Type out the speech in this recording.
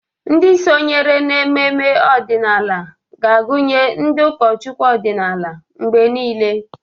Ndị sonyere n'ememe ọdịnala ga-agụnye ndị ụkọchukwu ọdịnala mgbe niile.